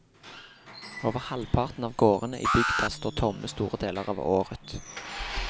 Over halvparten av gårdene i bygda står tomme store deler av året.